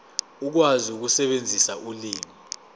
ukwazi ukusebenzisa ulimi